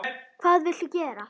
Hvað viltu gera?